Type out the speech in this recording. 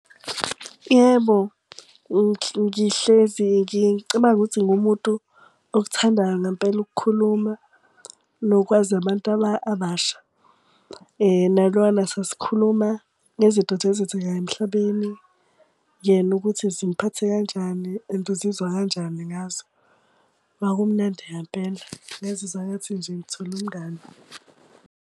Yebo, ngihlezi ngicabanga ukuthi ngingumuntu okuthandayo ngempela ukukhuluma, nokwazi abantu abasha. Naloyana sasikhuluma ngezinto nje ezenzekayo emhlabeni. Yena ukuthi zimuphathe kanjani and uzizwa kanjani ngazo. Kwakumnandi ngempela, ngazizwa engathi nje ngithole umngani.